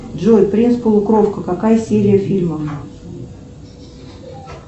джой принц полукровка какая серия фильма